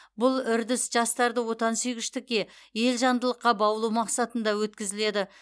бұл үрдіс жастарды отан сүйгіштікке елжандылыққа баулу мақсатында өткізіледі